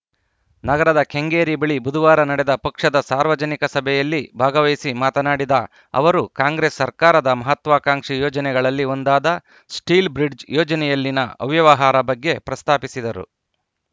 ನಗರದ ಕೆಂಗೇರಿ ಬಳಿ ಬುಧವಾರ ನಡೆದ ಪಕ್ಷದ ಸಾರ್ವಜನಿಕ ಸಭೆಯಲ್ಲಿ ಭಾಗವಹಿಸಿ ಮಾತನಾಡಿದ ಅವರು ಕಾಂಗ್ರೆಸ್‌ ಸರ್ಕಾರದ ಮಹತ್ವಕಾಂಕ್ಷಿ ಯೋಜನೆಗಳಲ್ಲಿ ಒಂದಾದ ಸ್ಟೀಲ್‌ ಬ್ರಿಜ್‌ ಯೋಜನೆಯಲ್ಲಿನ ಅವ್ಯವಹಾರ ಬಗ್ಗೆ ಪ್ರಸ್ತಾಪಿಸಿದರು